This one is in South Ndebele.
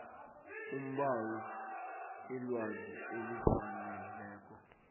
umbawi ilwazi elifaneleko